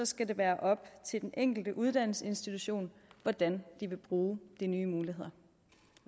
skal det være op til de enkelte uddannelsesinstitutioner hvordan de vil bruge de nye muligheder